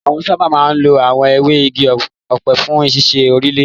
Wọn sáábà máa ń lo àwọn ewé igi ọ̀pẹ fún ṣíṣe òrùlé.